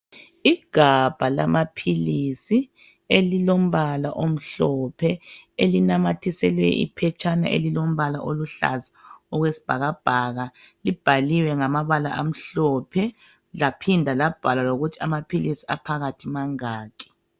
Igabha lama philsi elilombala omhlophe elinamathiselwe iphetshana elilombala oluhlaza owesibhakabhaka libhaliwe ngamabala amhlophe laphinda labhalwa ukuthi amaphilisi aphakathi mangaki.